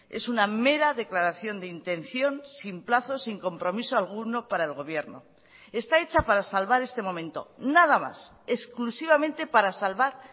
es una mera declaración de intención sin plazos sin compromiso alguno para el gobierno está hecha para salvar este momento nada más exclusivamente para salvar